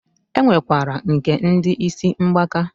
E nwekwara nke ndi isi mgbaka.